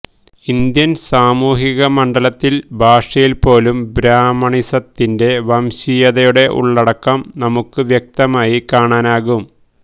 Indian സാമൂഹിക മണ്ഡലത്തില് ഭാഷയില് പോലും ബ്രാഹ്മണിസത്തിന്റെ വംശീയതയുടെ ഉള്ളടക്കം നമുക്ക് വ്യക്തമായി കാണാനാവും